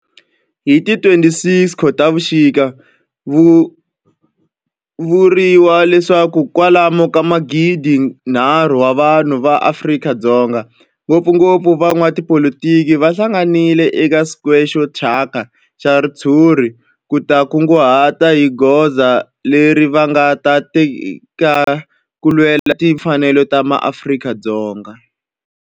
Hi ti 26 Khotavuxika ku vuriwa leswaku kwalomu ka magidi-nharhu wa vanhu va Afrika-Dzonga, ngopfungopfu van'watipolitiki va hlanganile eka square xo thyaka xa ritshuri ku ta kunguhata hi goza leri va nga ta ri teka ku lwela timfanelo ta maAfrika-Dzonga.